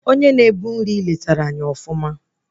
Onye na-ebu nri netere anyị ọfụma